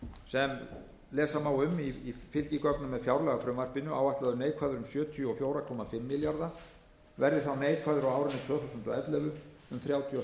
sem lesa má um í fylgigögnum með fjárlagafrumvarpinu áætlaður neikvæður um sjötíu og fjögur komma fimm milljarða króna verði þá neikvæður á árinu tvö þúsund og ellefu um þrjátíu og